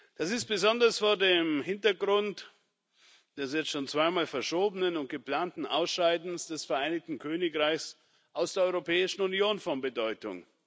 Das ist besonders vor dem Hintergrund des jetzt schon zweimal verschobenen und geplanten Ausscheidens des Vereinigten Königreichs aus der Europäischen Union von Bedeutung.